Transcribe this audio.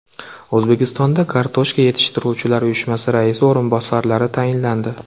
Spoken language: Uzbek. O‘zbekistonda Kartoshka yetishtiruvchilar uyushmasi raisi o‘rinbosarlari tayinlandi.